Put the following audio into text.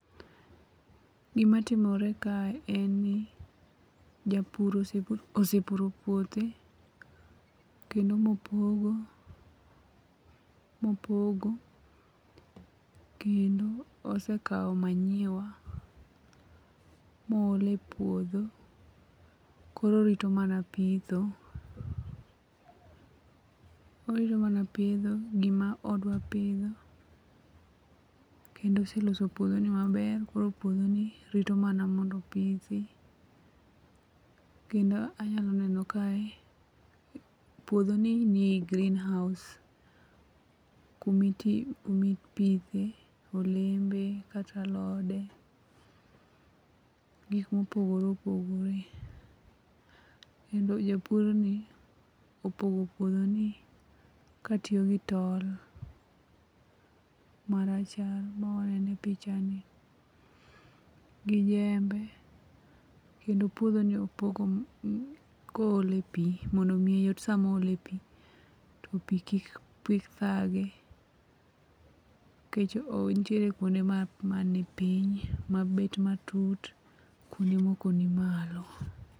Gimatimore kae en ni japuro osepuro puothe, kendo mopogo, kendo osekawo manyiwa moolo e puodho koro orito mana pitho gima odwa pidho, kendo oseloso puodhoni maber koro puodhoni rito mana mondo opithi. Kendo anyalo neno kae ,puodhoni ni e greenhouse, kumipidhe olembe kata alode, gik mopogore opogore. Kendo japurni, opogo puodhoni katiyo gi tol marachar ma waneno e pichani, gi jembe kendo puodhoni opogo koole pi mondo omiye yot samoole pi, to pi kik thage, nikech nitie kwonde manipiny mabet matut, kwonde moko ni malo.